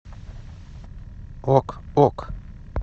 ок ок